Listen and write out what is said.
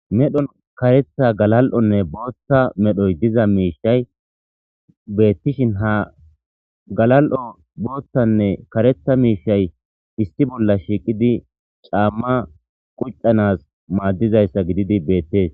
Medhon karetha, galal'onne Botha medhoy diza mishay betishn ha karetha galal'onne Botha miahay issi bolla ahiqetid cama qucanas madizaysa gidid betes.